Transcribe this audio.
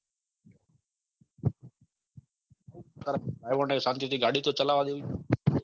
પણ driver ને શાંતિથી ગાડી તો ચલાવા દેવીતી